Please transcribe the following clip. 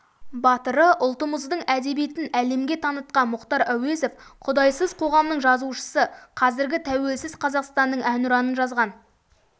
батыры ұлтымыздың әдебиетін әлемге танытқан мұхтар әуезов құдайсыз қоғамның жазушысы қазіргі тәуелсіз қазақстанның әнұранын жазған